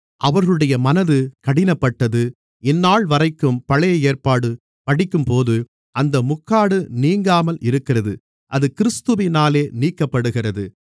அவர்களுடைய மனது கடினப்பட்டது இந்தநாள் வரைக்கும் பழைய ஏற்பாடு படிக்கும்போது அந்த முக்காடு நீங்காமல் இருக்கிறது அது கிறிஸ்துவினாலே நீக்கப்படுகிறது